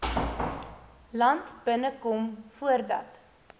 land binnekom voordat